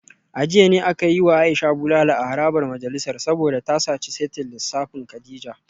A jiya ne aka yi wa Aisha bulala a harabar majalisar saboda ta saci saitin lissafin Kadijat